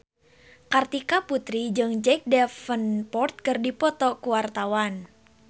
Kartika Putri jeung Jack Davenport keur dipoto ku wartawan